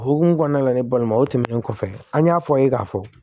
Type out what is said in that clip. O hukumu kɔnɔna la ne balima o tɛmɛnen kɔfɛ an y'a fɔ aw ye k'a fɔ